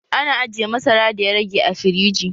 Ana ajiye masara da ya rage a firiji